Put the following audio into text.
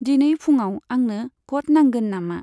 दिनै फुङाव आंनो क'ट नांगोन नामा?